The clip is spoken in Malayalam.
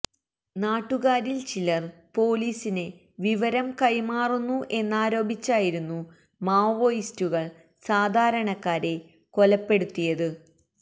നാട്ടുകാരില് ചിലര് പൊലീസിന് വിവരം കൈമാറുന്നു എന്നാരോപിച്ചായിരുന്നു മാവോയിസ്റ്റുകള് സാധാരണക്കാരെ കൊലപ്പെടുത്തിയത്